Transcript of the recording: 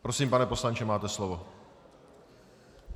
Prosím, pane poslanče, máte slovo.